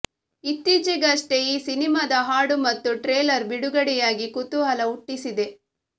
ಇತ್ತೀಚೆಗಷ್ಟೇ ಈ ಸಿನಿಮಾದ ಹಾಡು ಮತ್ತು ಟ್ರೇಲರ್ ಬಿಡುಗಡೆಯಾಗಿ ಕುತೂಹಲ ಹುಟ್ಟಿಸಿದೆ